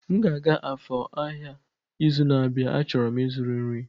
M ga-aga Afor ahịa izu na-abịa, a chọrọ m ịzụrụ nri